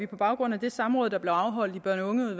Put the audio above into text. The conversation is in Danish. på baggrund af det samråd der blev afholdt i børne og